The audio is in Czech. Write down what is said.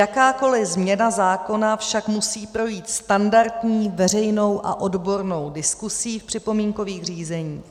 Jakákoliv změna zákona však musí projít standardní veřejnou a odbornou diskuzí v připomínkových řízeních.